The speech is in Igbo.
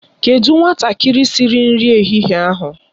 Kedụ nwatakịrị siri nri ehihie ahụ?